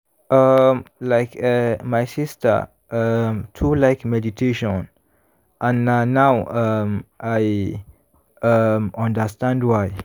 um like eh my sister um too like meditation and na now um i um understand why.